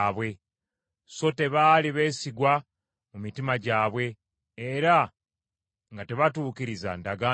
so tebaali beesigwa mu mitima gyabwe, era nga tebatuukiriza ndagaano ye.